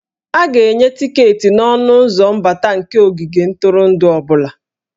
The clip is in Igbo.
A ga-enye tiketi n'ọnụ ụzọ mbata nke ogige ntụrụndụ ọ bụla